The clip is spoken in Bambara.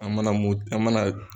An mana mun an mana.